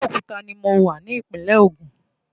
Abeokuta ni mo wà ní ìpínlẹ̀ ogun.